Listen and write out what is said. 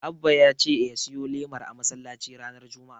Abba ya ce ya siyo lemar a masallaci ranar Juma'a.